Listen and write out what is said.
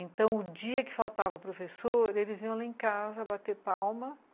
Então, o dia que faltava professor, eles iam lá em casa bater palma.